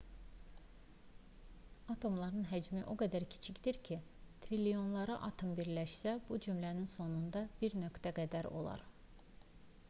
atomların həcmi o qədər kiçikdir ki triliyonlarla atom birləşsə bu cümlənin sonundakı bir nöqtə qədər olar